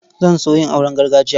Zan so yin auren gargajiya.